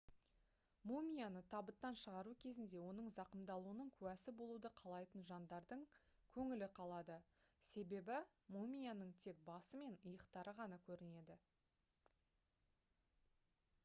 мумияны табыттан шығару кезінде оның зақымдалуының куәсі болуды қалайтын жандардың көңілі қалады себебі мумияның тек басы мен иықтары ғана көрінеді